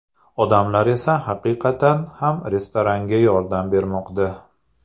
Odamlar esa haqiqatan ham restoranga yordam bermoqda.